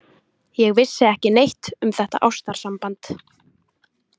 Ég vissi ekki neitt um þetta ástarsamband.